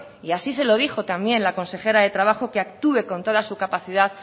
y así se lo dijo también la consejera de trabajo que actúe con toda su capacidad